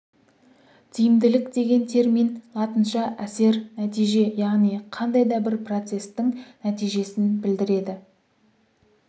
тиімділік деген термин латынша әсер нәтиже яғни қандай да бір процестің нәтижесін білдіреді